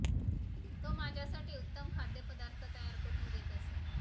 तो माझ्यासाठी उत्तम खाद्यपदार्थ तयार करून देत असे